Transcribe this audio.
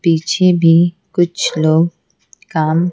पीछे भी कुछ लोग काम--